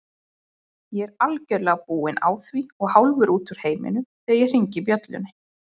Ég er algjörlega búinn á því og hálfur út úr heiminum þegar ég hringi bjöllunni.